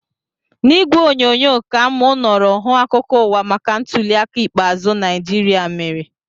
N'ìgwè onyonyo ka mụ nọrọ hụ akụkọ ụwa maka ntuli aka ikpeazụ Naijiria mere